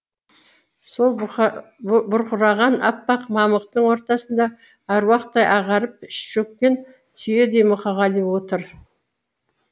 сол бұрқыраған аппақ мамықтың ортасында аруақтай ағарып шөккен түйедей мұқағали отыр